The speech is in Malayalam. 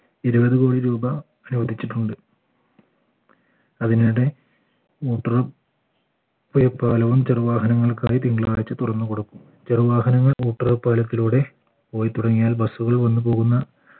ഇരുവത് കോടി രൂപ അനുവദിച്ചിട്ടുണ്ട് അതിനിടെ പുഴ പാലവും ചെറുവാഹനങ്ങൾക്ക് തിങ്കളാഴ്ച തുറന്നു കൊടുക്കും ചെറുവാഹനങ്ങൾ പാലത്തിലൂടെ പോയി തുടങ്ങിയാൽ bus കൾ വന്നു പോകുന്ന